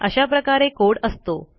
अशाप्रकारे कोड असतो